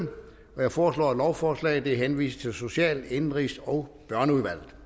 jeg foreslår at lovforslaget henvises til social indenrigs og børneudvalget